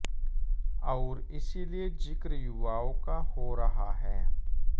और इसी लिये जिक्र युवाओ का हो रहा है